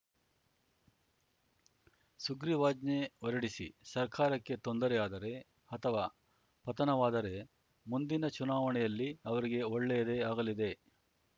ಸುಗ್ರೀವಾಜ್ಞೆ ಹೊರಡಿಸಿ ಸರ್ಕಾರಕ್ಕೆ ತೊಂದರೆಯಾದರೆ ಅಥವಾ ಪತನವಾದರೆ ಮುಂದಿನ ಚುನಾವಣೆಯಲ್ಲಿ ಅವರಿಗೇ ಒಳ್ಳೆಯದೇ ಆಗಲಿದೆ